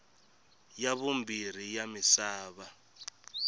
ya vumbirhi ya misava